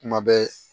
Kuma bɛɛ